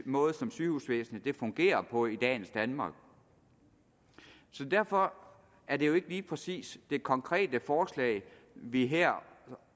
måde som sygehusvæsenet fungerer på i dagens danmark så derfor er det jo ikke lige præcis det konkrete forslag vi her